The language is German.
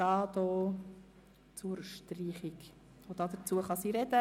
Deshalb möchte ich folgendermassen vorgehen: